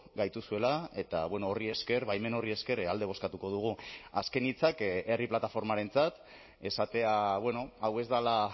gaituzuela eta horri esker baimen horri esker alde bozkatuko dugu azken hitzak herri plataformarentzat esatea hau ez dela